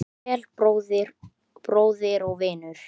Farðu vel, bróðir og vinur.